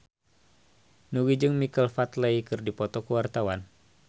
Nugie jeung Michael Flatley keur dipoto ku wartawan